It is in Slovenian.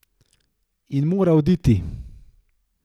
In mora oditi!